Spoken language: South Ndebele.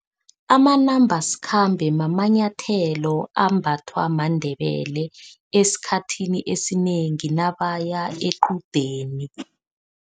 Amanambasikhambe mamanyathelo ambathwa maNdebele, esikhathini esinengi nabaya equdeni.